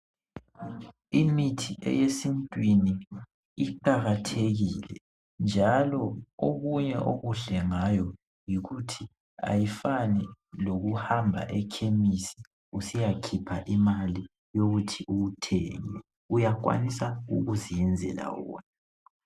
Imithi eyesintwini iqakathekile njalo okunye okuhle ngayo yikuthi akufani lokuhamba ekhemisi usiyakhipha imali ukuthi uyithenge uyakwanisa ukuzenzela wona.